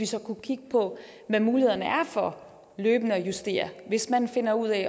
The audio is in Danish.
så kunne kigge på hvad mulighederne er for løbende at justere hvis man finder ud af